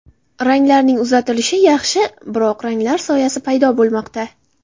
Ranglarning uzatilishi yaxshi, biroq ranglar soyasi paydo bo‘lmoqda.